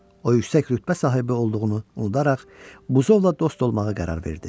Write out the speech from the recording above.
O yüksək rütbə sahibi olduğunu unudaraq, buzovla dost olmağa qərar verdi.